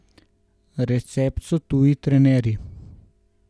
Recept so tuji trenerji.